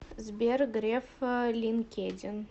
сбер греф линкедин